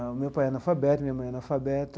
O meu pai é analfabeto, minha mãe é analfabeta.